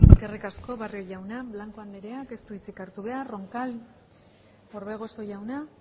eskerrik asko barrio jauna blanco andreak ez du hitzik hartu behar roncal orbegozo jauna